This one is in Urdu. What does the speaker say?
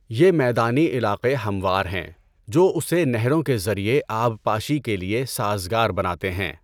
یہ میدانی علاقے ہموار ہیں جو اسے نہروں کے ذریعے آبپاشی کے لیے سازگار بناتے ہیں۔